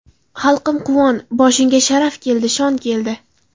Xalqim, quvon, boshingga Sharaf keldi, shon keldi.